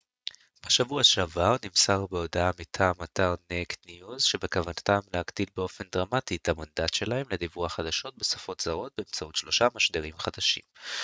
בשבוע שעבר נמסר בהודעה מטעם אתר נייקד ניוז שבכוונתם להגדיל באופן דרמטי את המנדט שלהם לדיווח חדשות בשפות זרות באמצעות שלושה משדרים חדשים